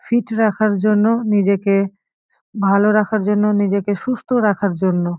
Fit রাখার জন্য নিজেকে ভালো রাখার জন্য নিজেকে সুস্থ রাখার জন্য।